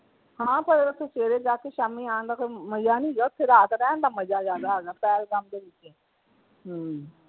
ਹਾਂ ਪਰ ਓਥੇ ਸਵੇਰੇ ਜਾ ਕੇ ਸ਼ਾਮੀ ਆਉਣ ਦਾ ਕੋਈ ਮਜ਼ਾ ਨਹੀਂ ਹੈਗਾ ਓਥੇ ਰਾਤ ਰਹਿਣ ਦਾ ਮਜ਼ਾ ਜਿਆਦਾ ਹੈਗਾ ਪਹਿਲਗਾਮ ਦੇ ਵਿਚ ਹਮ